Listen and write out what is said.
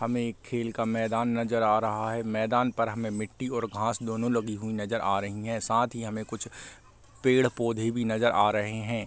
हमें एक खेल का मैदान नजर आ रहा है | मैदान पर हमें मिट्टी और घास दोनों लगी हुई नजर आ रही हैं | साथ ही हमें कुछ पेड़-पौधे भी नजर आ रहे हैं |